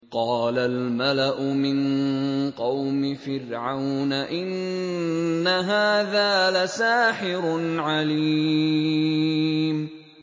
قَالَ الْمَلَأُ مِن قَوْمِ فِرْعَوْنَ إِنَّ هَٰذَا لَسَاحِرٌ عَلِيمٌ